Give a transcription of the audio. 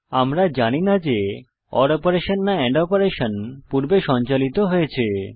আমরা জানি না যে ওর অপারেশন না এন্ড অপারেশন পূর্বে সঞ্চালিত হয়েছে